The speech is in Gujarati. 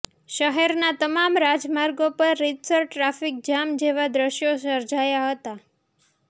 શહેરના તમામ રાજમાર્ગો પર રિતસર ટ્રાફિક જામ જેવા દ્રશ્યો સર્જાયા હતા